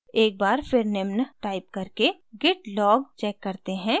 एक बार फिर निम्न टाइप करके git log check करते हैं